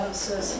Xoş gəlmisiz.